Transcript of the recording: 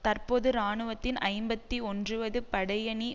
தற்போது இராணுவத்தின் ஐம்பத்தி ஒன்றுவது படையணி